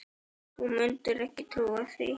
Þú mundir ekki trúa því.